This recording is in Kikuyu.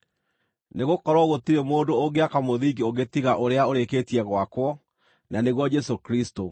Nĩgũkorwo gũtirĩ mũndũ ũngĩaka mũthingi ũngĩ tiga ũrĩa ũrĩkĩtie gwakwo, na nĩguo Jesũ Kristũ.